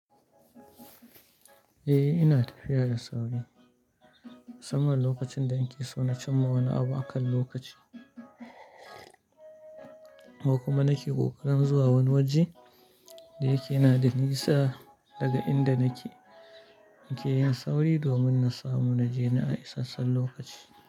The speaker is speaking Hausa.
Eh, ina tafiya da sauri musamman lokacin da nake so na cimma wani abu, akan lokaci. Wa kuma nake kokarin zuwa wani waje da yake yana da nisa daga inda nake, nake yin sauri domin na samu na je na a isassun lokaci.